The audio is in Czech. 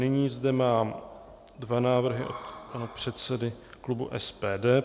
Nyní zde mám dva návrhy od pana předsedy klubu SPD.